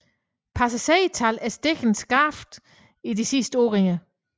Passagertallet er steget skarpt i de sidste år